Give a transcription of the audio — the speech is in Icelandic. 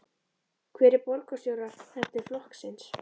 Hver er borgarstjóraefni flokksins?